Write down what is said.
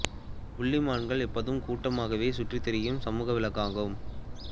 புள்ளி மான்கள் எப்போதும் கூட்டமாகவே சுற்றித் திரியும் சமூக விலங்கு ஆகும்